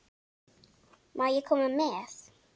Má ég koma með?